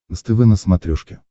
нств на смотрешке